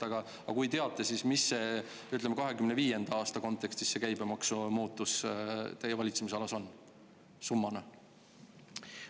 Aga kui teate, siis mis see käibemaksu muutus, ütleme, 2025. aasta kontekstis teie valitsemisalas on, summana?